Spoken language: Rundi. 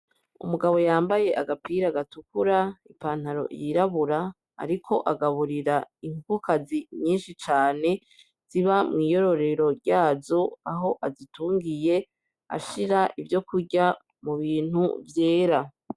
Umugabo yambaye agapira gatukura ipantaro yirabura, ariko agaburira inkokokazi nyinshi cane ziba mw'iyororero ryazo aho azitungiye ashira ivyo kurya mu bintu vyera.